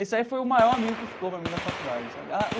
Esse aí foi o maior amigo que ficou para mim na faculdade sabe ah.